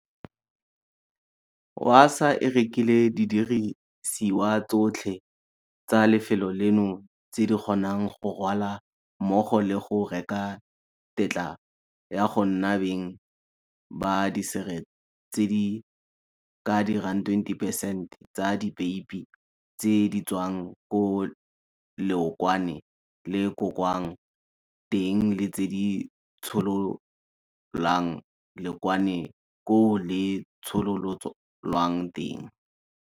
Wasaa e rekile didirisiwa tsotlhe tsa lefelo leno tse di kgonang go rwalwa mmogo le go reka tetla ya go nna beng ba dišere tse di ka dirang 20 percent tsa dipeipi tse di tswang ko leokwane le gogwang teng le tse di tshololang leokwane koo le tshololwang teng.